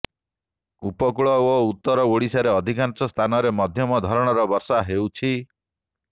ଉପକୂଳ ଓ ଉତ୍ତର ଓଡିଶାର ଅଧିକାଂଶ ସ୍ଥାନରେ ମଧ୍ୟମ ଧରଣର ବର୍ଷା ହେଉଛି